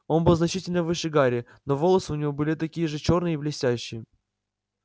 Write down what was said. он был значительно выше гарри но волосы у него были такие же чёрные и блестящие